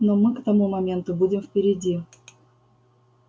но мы к тому моменту будем впереди